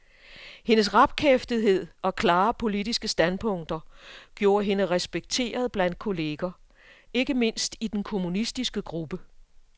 Hendes rapkæftethed og klare politiske standpunkter gjorde hende respekteret blandt kolleger, ikke mindst i den kommunistiske gruppe.